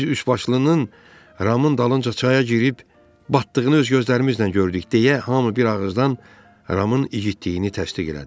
Biz üçbaşlının Ramın dalınca çaya girib batdığını öz gözlərimizlə gördük deyə hamı bir ağızdan Ramın igidliyini təsdiq elədi.